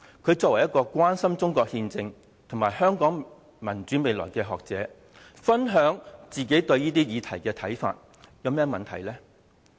他作為關心中國憲政和香港民主未來的學者，分享自己對這些議題的看法，有何問題呢？